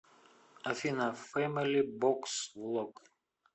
афина фэмили бокс влог